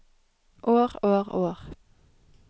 år år år